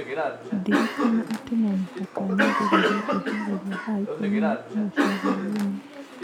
Ndirikana atĩ no mũhaka nyambĩrĩrie kwĩharĩria thaa ikũmi na ĩmwe cia hwaĩ-inĩ.